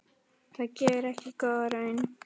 Það gefur ekki góða raun.